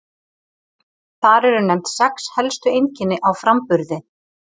Þar eru nefnd sex helstu einkenni á framburði.